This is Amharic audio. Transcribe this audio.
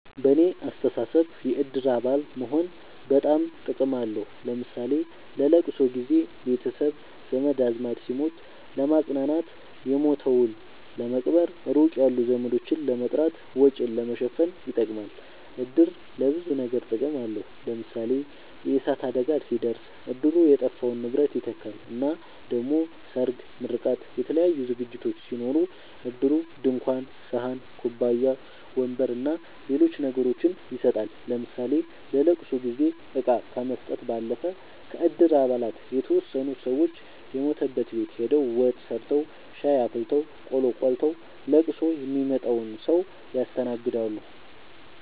በኔ አስተሳሰብ የእድር አባል መሆን በጣም ጥቅም አለዉ ለምሳሌ ለለቅሶ ጊዘ ቤተሰብ ዘመድአዝማድ ሲሞት ለማጽናናት የሞተዉን ለመቅበር ሩቅ ያሉ ዘመዶችን ለመጥራት ወጪን ለመሸፈን ይጠቅማል። እድር ለብዙ ነገር ጥቅም አለዉ ለምሳሌ የእሳት አደጋ ሲደርስ እድሩ የጠፋውን ንብረት ይተካል እና ደሞ ሰርግ ምርቃት የተለያዩ ዝግጅቶች ሲኖሩ እድሩ ድንኳን ሰሀን ኩባያ ወንበር አና ሌሎች ነገሮችን ይሰጣል ለምሳሌ ለለቅሶ ጊዜ እቃ ከመስጠት ባለፈ ከእድር አባላት የተወሰኑት ሰወች የሞተበት ቤት ሆደው ወጥ ሰርተዉ ሻይ አፍልተው ቆሎ ቆልተዉ ለቅሶ ሚመጣዉን ሰዉ ያስተናግዳሉ።